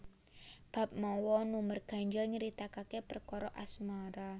Bab mawa nomer ganjil nyritakaké perkara asmara